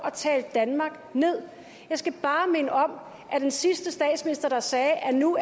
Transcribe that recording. at tale danmark nederst jeg skal bare minde om at den sidste statsminister der sagde at nu